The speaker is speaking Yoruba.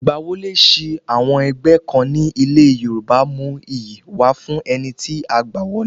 Ìgbà wọlé sí àwọn ẹgbẹ́ kan ní ilẹ̀ Yorùbá mú iyì wá fún ẹni tí a gbá wọlé